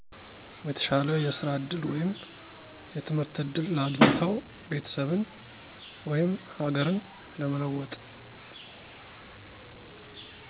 የተሻለ የስራ እድል ወይም የትምህርት እድል አግኝተው ቤተሰብን፣ ወይም ሀገርን ለመለወጥ።